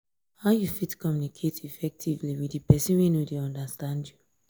how you fit communicate effectively with di pesin wey no dey understand you?